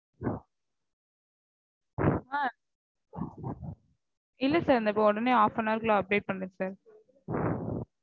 ஆ இல்ல sir உடனே half an hour குள்ள update பண்றேன் sir